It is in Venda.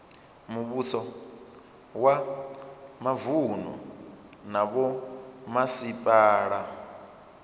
muvhuso wa mavunu na vhomasipala